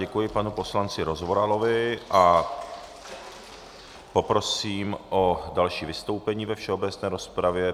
Děkuji panu poslanci Rozvoralovi a poprosím o další vystoupení ve všeobecné rozpravě.